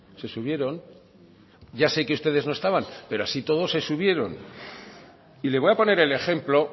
se subieron ya sé que ustedes no estaban pero así y todo se subieron y le voy a poner el ejemplo